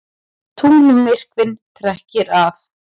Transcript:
Tunglmyrkvinn trekkir að